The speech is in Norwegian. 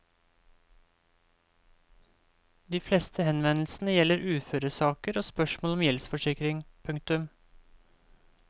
De fleste henvendelsene gjelder uføresaker og spørsmål om gjeldsforsikring. punktum